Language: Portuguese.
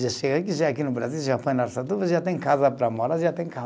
Já chega aqui, já é aqui no Brasil, já foi na Araçatuba, já tem casa para morar, já tem carro.